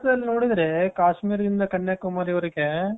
ಅಲ್ಲಿ ನೋಡಿದ್ರೆ ಕಾಶ್ಮೀರದಿಂದ ಕನ್ಯಾಕುಮಾರಿವರೆಗೆ .